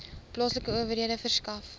plaaslike owerhede verskaf